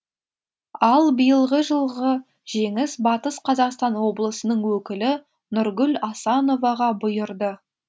ал биылғы жылғы жеңіс батыс қазақстан облысының өкілі нұргүл асановаға бұйырды